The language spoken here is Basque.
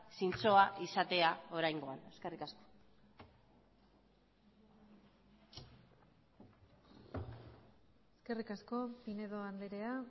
zintzoa izatea oraingoan eskerrik asko eskerrik asko pinedo andrea